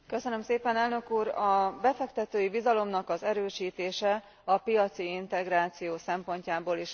A befektetői bizalomnak az erősítése a piaci integráció szempontjából is rendkívül fontos.